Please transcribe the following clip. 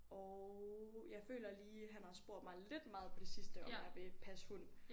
Og jeg føler lige han har spurgt mig lidt meget på det sidste om jeg vil passe hund